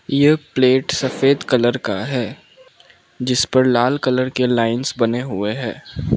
यह प्लेट सफेद कलर का है जिस पर लाल कलर के लाइंस बने हुए है।